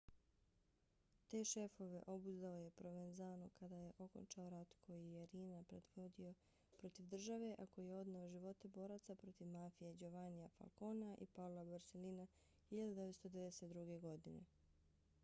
te šefove obuzdao je provenzano kad je okončao rat koji je riina predvodio protiv države a koji je odneo živote boraca protiv mafije giovannija falconea i paola borsellina 1992. godine